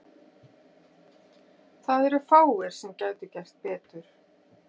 Það eru fáir sem gætu gert betur.